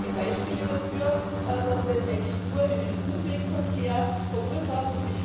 Da gibt es gute Beispiele dafür, dass das eigentlich nur einen Umwegverkehr verursacht.